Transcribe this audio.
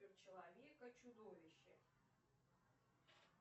человек и чудовище